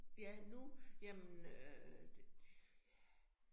Ja nu, jamen øh det ja